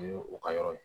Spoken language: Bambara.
O ye u ka yɔrɔ ye